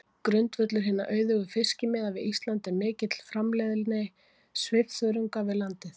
Grundvöllur hinna auðugu fiskimiða við Ísland er mikil framleiðni svifþörunga við landið.